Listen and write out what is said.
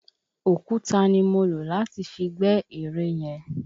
Òkúta ni mo lò láti fi gbẹ́ ere yẹn.